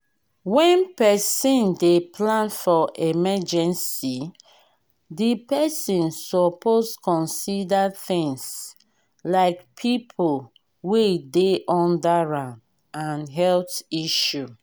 when person dey plan for emergecy di person suppose consider things like pipo wey dey under am and health issue